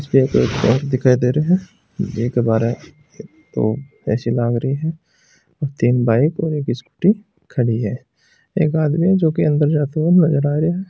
एसबीआई का बैंक दिखाई दे रहे हैं तीन बाइक और एक स्कूटी खड़ी है एक आदमी जो की अंदर जाते हुए नजर आ रहा है।